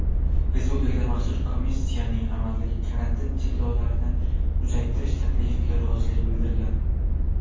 Respublika maxsus komissiyasining amaldagi karantin cheklovlarini uzaytirish taklifiga rozilik bildirilgan.